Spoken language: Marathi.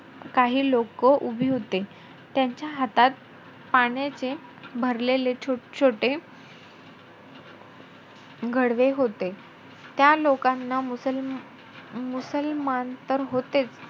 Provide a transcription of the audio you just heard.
काही लोक उभी होते. त्यांच्या हातात पाण्याचे भरलेले छोटे घडवे होते. त्या लोकांना मुसल ~ मुसलमान तर होतेचं,